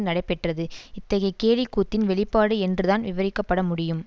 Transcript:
நடைபெற்றது இத்தகைய கேலிக்கூத்தின் வெளிப்பாடு என்றுதான் விவரிக்கப்படமுடியும்